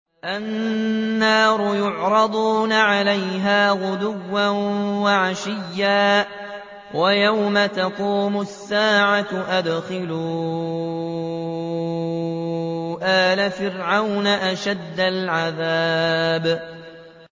النَّارُ يُعْرَضُونَ عَلَيْهَا غُدُوًّا وَعَشِيًّا ۖ وَيَوْمَ تَقُومُ السَّاعَةُ أَدْخِلُوا آلَ فِرْعَوْنَ أَشَدَّ الْعَذَابِ